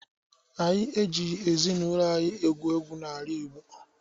Anyị ejighị ezinaụlọ egwu egwu n'ala igbo